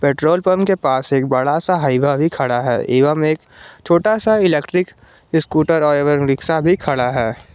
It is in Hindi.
पेट्रोल पंप के पास एक बड़ा सा हाईवा भी खड़ा है एवं एक छोटा सा इलेक्ट्रिक स्कूटर एवं रिक्शा भी खड़ा है।